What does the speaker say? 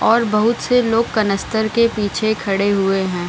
और बहुत से लोग कनस्तर के पीछे भी खड़े हुए हैं।